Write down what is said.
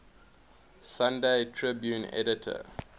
sunday tribune editor